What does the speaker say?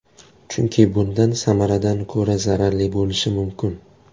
Chunki bundan samaradan ko‘ra zararli bo‘lishi mumkin.